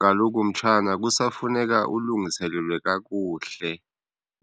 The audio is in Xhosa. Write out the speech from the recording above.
Kaloku mtshana, kusafuneka ulungiselelwe kakuhle.